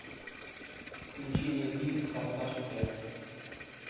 включи мне фильм форсаж пять